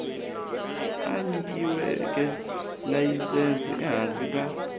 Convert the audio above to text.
a nyikiweke layisense ehansi ka